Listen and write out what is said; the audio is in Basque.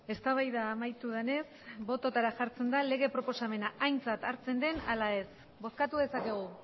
eztabaida amaitu denez bototara jartzen da lege proposamena aintzat hartzen den ala ez bozkatu dezakegu